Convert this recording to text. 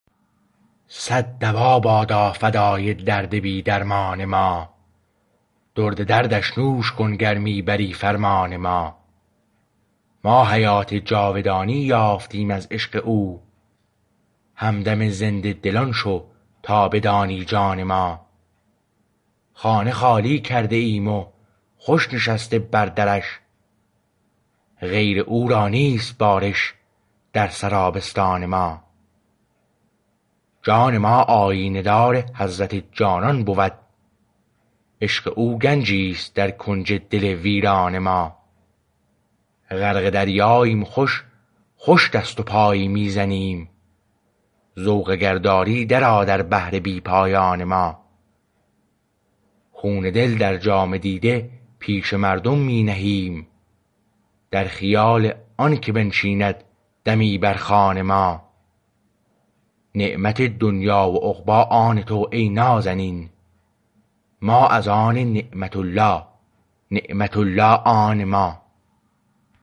صد دوا بادا فدای درد بی درمان ما درد دردش نوش کن گر می بری فرمان ما ما حیات جاودانی یافتیم از عشق او همدم زنده دلان شو تا بدانی جان ما خانه خالی کرده ایم و خوش نشسته بر درش غیر او را نیست بارش در سرابستان ما جان ما آیینه دار حضرت جانان بود عشق او گنجی است در کنج دل ویران ما غرق دریاییم و خوش خوش دست و پایی می زنیم ذوق اگر داری درآ در بحر بی پایان ما خون دل در جام دیده پیش مردم می نهیم در خیال آنکه بنشیند دمی بر خوان ما نعمت دنیی و عقبی آن تو ای نازنین ما از آن نعمت الله نعمت الله آن ما